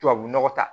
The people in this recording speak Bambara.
Tubabu nɔgɔ ta